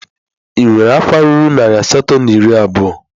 Ị nwere akwa ruru narị asatọ na iri abụọ?